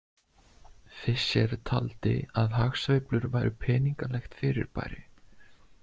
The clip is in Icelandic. Fisher taldi að hagsveiflur væru peningalegt fyrirbæri.